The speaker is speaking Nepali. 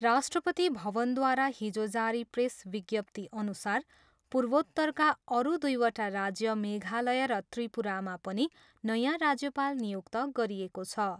राष्ट्रपति भवनद्वारा हिजो जारी प्रेस विज्ञप्तिअनुसार पूर्वोत्तरका अरू दुइवटा राज्य मेघालय र त्रिपुरामा पनि नयाँ राज्यपाल नियुक्त गरिएको छ।